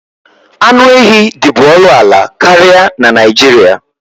Anụ ehi dị bu ọnụ ala karịa na Naịjirịa.